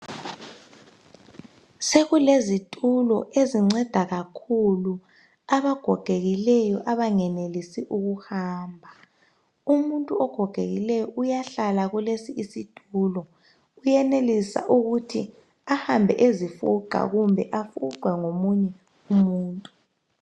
Sekulezitulo ezinceda kakhulu abagogekileyo abangenelisi ukuhamba. Umuntu ogogekileyo uyahlala kulesi isitulo. Uyenelisa ukuthi ahambe ezifuqa kumbe afuqwe ngomunye umuntu.